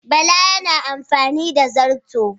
Bala yana amfani da zarto